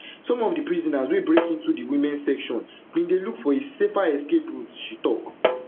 some of di prisoners wey break into di womens section bin dey look for a safer escape route she tok